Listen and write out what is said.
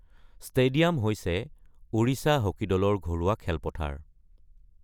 Stadium হৈছে Odisha hockey দলৰ ঘৰুৱা খেলপথাৰ।